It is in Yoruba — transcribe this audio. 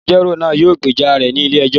Agbẹjọro naa yóò gbeja rẹ ni ile-ẹjọ